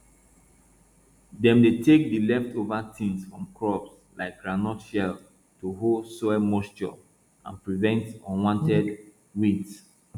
dem dey take the leftover tins from crops like groundnut shell to hold soil moisture and prevent unwanted weeds